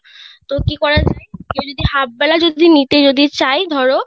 তো কি করা যায় কেও half বেলা যদি নিতে যদি চাই ধরো